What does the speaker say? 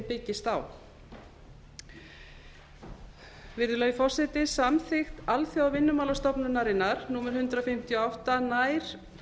byggist virðulegi forseti samþykkt alþjóðavinnumálastofnunarinnar númer hundrað fimmtíu og átta nær